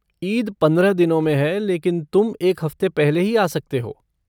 ईद पंद्रह दिनों में है लेकिन तुम एक हफ़्ते पहले ही आ सकते हो।